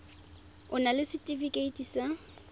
o na le setefikeiti sa